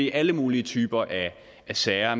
i alle mulige typer sager